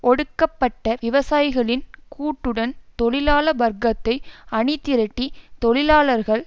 ஒடுக்கப்பட்ட விவசாயிகளின் கூட்டுடன் தொழிலாள வர்க்கத்தை அணிதிரட்டி தொழிலாளர்கள்